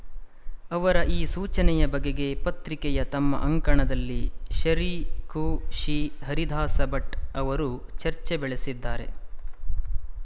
ಅವರ ಈ ಸೂಚನೆಯ ಬಗೆಗೆ ಪತ್ರಿಕೆಯ ತಮ್ಮ ಅಂಕಣದಲ್ಲಿ ಶರೀ ಕುಶಿ ಹರಿದಾಸಭಟ್ ಅವರು ಚರ್ಚೆ ಬೆಳೆಸಿದ್ದಾರೆ